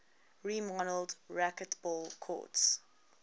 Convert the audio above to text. remodeled racquetball courts